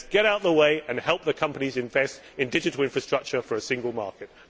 Let us get out of the way and help the companies invest in digital infrastructure for a single market.